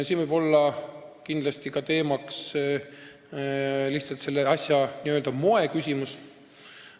Siin võib kindlasti olla oluline selle asja n-ö moeküsimus.